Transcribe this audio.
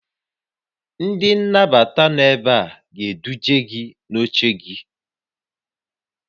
Ndị nnabata nọ ebe a ga-eduje gị n'oche gị